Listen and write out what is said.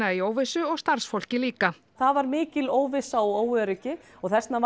í óvissu og starfsfólkið líka það var mikil óvissa og óöryggi og þess vegna var